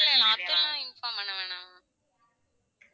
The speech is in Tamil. இல்லல்ல அப்படிலா inform பண்ண வேண்டாம்